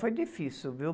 Foi difícil, viu?